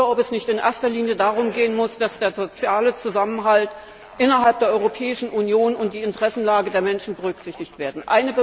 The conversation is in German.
Muss es nicht vielmehr in erster Linie darum gehen, dass der soziale Zusammenhalt innerhalb der Europäischen Union und die Interessenlage der Menschen berücksichtigt werden?